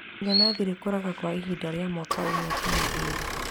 Inanathi rĩkũraga kwa ihinda rĩa mwaka ũmwe kana ĩrĩ.